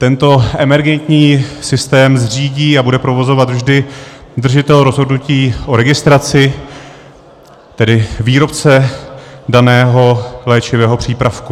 Tento emergentní systém zřídí a bude provozovat vždy držitel rozhodnutí o registraci, tedy výrobce daného léčivého přípravku.